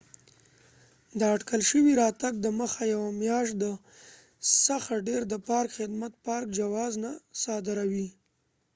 د اټکل شوي راتګ دمخه یوه میاشت څخه ډیر د پارک خدمت minae د پارک جواز نه صادروي۔